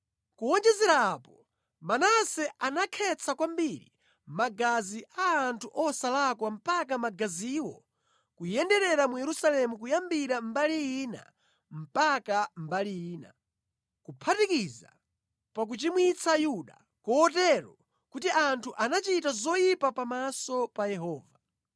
Kuwonjezera apo, Manase anakhetsa kwambiri magazi a anthu osalakwa mpaka magaziwo kuyenderera mu Yerusalemu kuyambira mbali ina mpaka mbali ina, kuphatikiza pa kuchimwitsa Yuda, kotero kuti anthu anachita zoyipa pamaso pa Yehova.